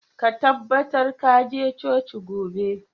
Ka tabbatar ka je coci gobe!